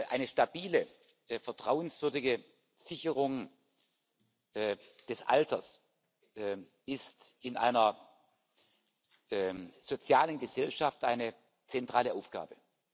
Eine stabile, vertrauenswürdige Sicherung des Alters ist in einer sozialen Gesellschaft eine zentrale Aufgabe.